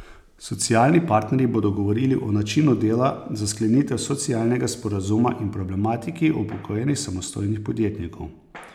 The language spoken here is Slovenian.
Socialni partnerji bodo govorili o načinu dela za sklenitev socialnega sporazuma in problematiki upokojenih samostojnih podjetnikov.